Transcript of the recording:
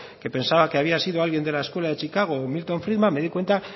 que pensaba que había sido alguien de la escuela de chicago o milton friedman me di cuenta